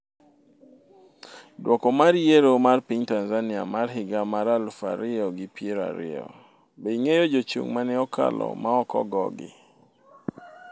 dwoko mar yiero mar piny Tanzania mar higa mar aluf ariyo gi piero ariyo : Be ing'eyo jochung' maneokalo ma ok ogogi